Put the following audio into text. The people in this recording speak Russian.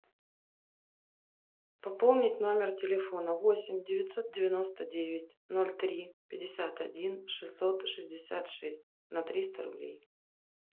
пополнить номер телефона восемь девятьсот девяносто девять ноль три пятьдесят один шестьсот шестьдесят шесть на триста рублей